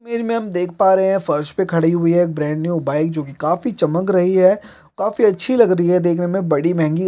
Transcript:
--देख पा रहे है फर्श पे खड़ी हुई है एक ब्रैन्ड न्यू बाइक जो की काफी चमक रही है काफी अच्छी लग रही है देखने मे बड़ी महेंगी गाड़ी है।